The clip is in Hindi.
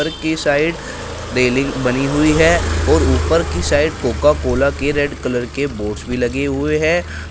ऊपर के साइड रेलिंग बनी हुई है और ऊपर की साइड कोका-कोला के रेड कलर के बोर्डस भी लगे हुए है।